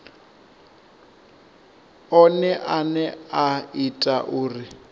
one ane a ita uri